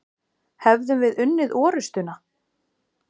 Hefðum við unnið orustuna?